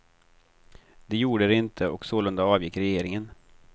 Det gjorde det inte och sålunda avgick regeringen.